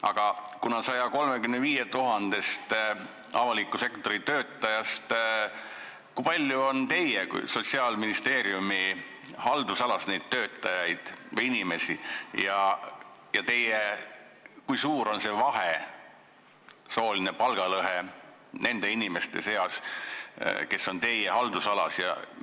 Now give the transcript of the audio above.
Aga kui paljud nendest 135 000-st avaliku sektori töötajast on Sotsiaalministeeriumi haldusalas ja kui suur on sooline palgalõhe nende inimeste seas, kes on teie haldusalas?